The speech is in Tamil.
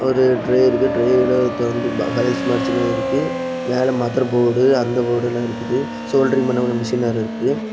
ஓரு ட்ரே இருக்கு ட்ரெயல தொறந்து இருக்கு மேல மதர் போடு அந்த போட் எல்லா இருக்குது சோல்டரிங் பண்ண ஒரு மெஷினர் இருக்குது.